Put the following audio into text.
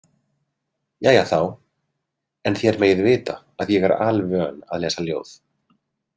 Jæja þá, en þér megið vita að ég er alvön að lesa ljóð.